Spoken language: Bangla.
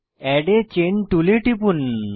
এড a চেইন টুলে টিপুন